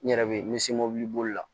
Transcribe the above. N yɛrɛ bɛ n bɛ se mobili bolila